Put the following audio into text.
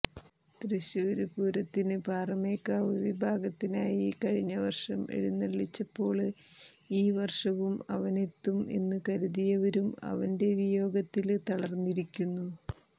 തൃശ്ശൂര് പൂരത്തിനു പാറമേക്കാവു വിഭാഗത്തിനായി കഴിഞ്ഞവര്ഷം എഴുന്നളളിച്ചപ്പോള് ഈ വര്ഷവും അവനെത്തും എന്നു കരുതിയവരും അവന്റെ വിയോഗത്തില് തളര്ന്നിരിക്കുന്നു